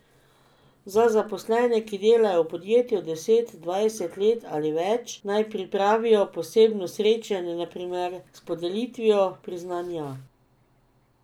Za zaposlene, ki delajo v podjetju deset, dvajset let ali več, naj pripravijo posebno srečanje na primer s podelitvijo priznanja.